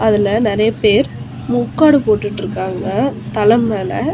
அதுல நிறைய பேர் முக்காடு போட்டுட்டு இருக்காங்க தல மேல.